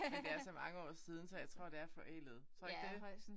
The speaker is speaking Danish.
Men det er så mange år siden så jeg tror det er forældet. Tror du ikke det?